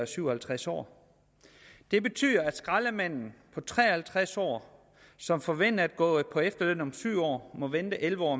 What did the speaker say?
syv og halvtreds år det betyder at skraldemanden på tre og halvtreds år som forventer at gå på efterløn om syv år må vente elleve år